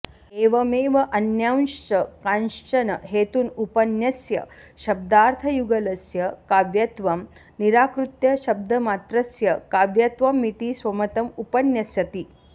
एवमेव अन्यांश्च कांश्चन हेतून् उपन्यस्य शब्दार्थयुगलस्य काव्यत्वं निराकृत्य शब्दमात्रस्य काव्यत्वमिति स्वमतम् उपन्यस्यति